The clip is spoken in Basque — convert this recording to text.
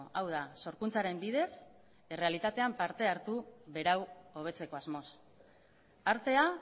hau da sorkuntzaren bidez errealitatean parte hartu berau hobetzeko asmoz artea